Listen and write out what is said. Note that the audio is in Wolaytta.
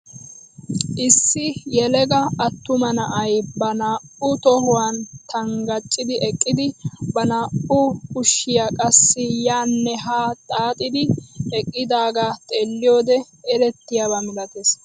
Issi yelaga attuma na'ay ba naa"u tohuwaan tangachchidi eqqidi ba naa"u kaushiyaa qassi yaanne haa xaxidi eqqidaagaa xeelliyoode elettiyaaba milatees.